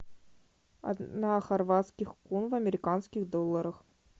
одна хорватских кун в американских долларах